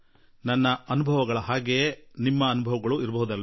ನನಗೆ ಆಗುವ ಇಂತಹ ಅನುಭವ ನಿಮಗೂ ಆಗಲಿಕ್ಕೆ ಸಾಕು